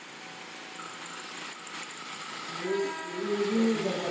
ਇਹ ਅਹ ਇਹ ਵੀ ਨੇ।